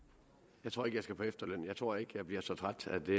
jeg tror ikke at jeg skal på efterløn jeg tror ikke at jeg bliver så træt at det